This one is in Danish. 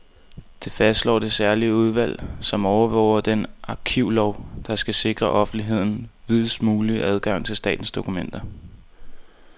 Det fastslår det særlige udvalg, som overvåger den arkivlov, der skal sikre offentligheden videst mulig adgang til statens dokumenter.